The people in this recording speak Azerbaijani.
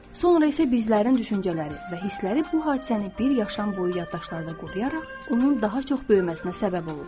Sonra isə bizlərin düşüncələri və hisləri bu hadisəni bir yaşam boyu yaddaşlarda qoruyaraq onun daha çox böyüməsinə səbəb olur.